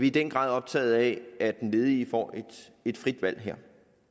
i den grad optaget af at den ledige får et frit valg her